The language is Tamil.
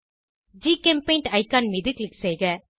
ஜிசெம்பெயிண்ட் ஐகான் மீது க்ளிக் செய்க